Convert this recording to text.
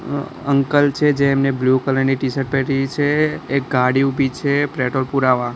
Uncle છે જેમને blue colour ની ટીશર્ટ પહેરી છે એક ગાડી ઊભી છે પ્રેટોલ પુરાવા.